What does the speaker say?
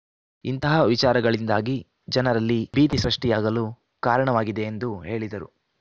ಇಂತಹ ವಿಚಾರಗಳಿಂದಾಗಿ ಜನರಲ್ಲಿ ಭೀತಿ ಸೃಷ್ಟಿಯಾಗಲು ಕಾರಣವಾಗಿದೆ ಎಂದು ಹೇಳಿದರು